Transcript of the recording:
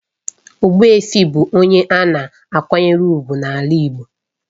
Ogbuefi bụ onye a na-akwanyere ùgwù n'ala igbo.